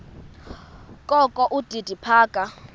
kokho udidi phaka